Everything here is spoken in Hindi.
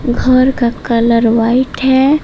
घर का कलर वाइट है।